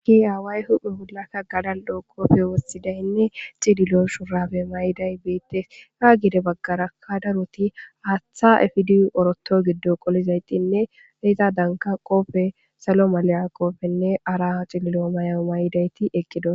gi aaway huphe wulakka gadal dhoo kopfe wossidaynne cililo shurafe may7iday beettes haa gide baggarakkadaroti haathhtha efidiy oroto giddo qolizaytinne eta danka qopfe salo maliya qopfenne araha xililo mayao may7idayti eqqido